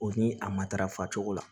O ni a matarafa cogo la